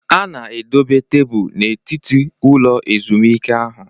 A na-edobe tebụl n'etiti ụlọ ezumike ahụ